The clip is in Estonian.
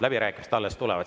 Läbirääkimised alles tulevad.